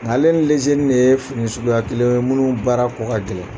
Ale ni lezenin de ye fini suguya kelen ye minnu baara kɔ ka gɛlɛn